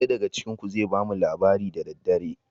Ɗaya daga cikin ku zai bamu labari da daddare.